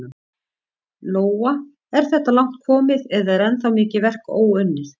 Lóa: Er þetta langt komið eða er ennþá mikið verk óunnið?